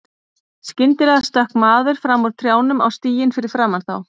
Skyndilega stökk maður fram úr trjánum á stíginn fyrir framan þá.